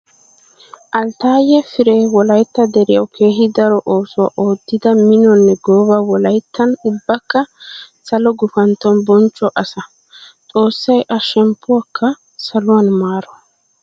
Alttaye Firee wolaytta deriyawu keehi daro oosuwa oottidda minonne gooba wolayttan ubbakka salo gufantton bonchcho asaa. Xoossay a shemppuwakka saluwan maaro.